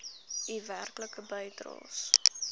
u werklike bydraes